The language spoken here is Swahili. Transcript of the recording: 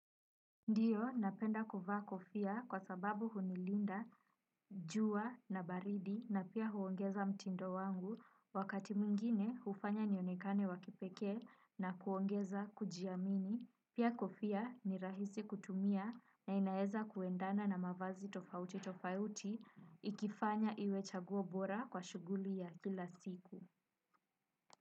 Ndiyo, napenda kuvaa kofia kwa sababu hunilinda, jua na baridi na pia huongeza mtindo wangu, wakati mwingine hufanya nionekane wakipeke na kuongeza kujiamini, pia kofia ni rahisi kutumia na inaeza kuendana na mavazi tofauti tofauti, ikifanya iwe chaguo bora kwa shuguli ya kila siku.